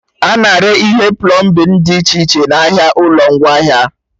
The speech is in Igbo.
A na-ere ihe plọmbin dị iche iche n'ahịa ụlọ ngwaahịa